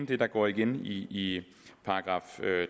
det der går igen i §